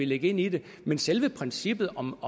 lægge ind i det men selve princippet om